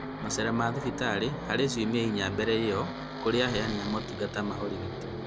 Macera ma thibitarĩ-inĩ harĩ ciunia inya mbele ĩyo kũrĩ aheani a motungata ma ũrigiti